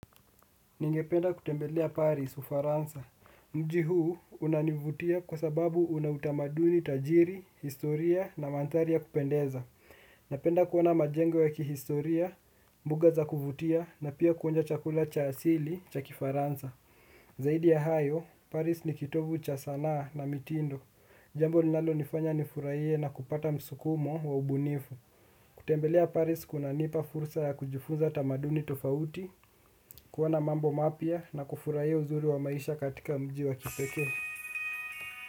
Ningependa kutembelea Paris ufaransa mji huu unanivutia kwa sababu una utamaduni tajiri, historia na mandhari ya kupendeza. Napenda kuona majengo ya kihistoria, mbuga za kuvutia na pia kuonja chakula cha asili cha kifaransa. Zaidi ya hayo, Paris ni kitovu cha sanaa na mitindo. Jambo linalonifanya nifurahie na kupata msukumo wa ubunifu. Kutembelea Paris kunanipa fursa ya kujifunza tamaduni tofauti. Kuona mambo mapya na kufurahia uzuri wa maisha katika mji wa kipekee.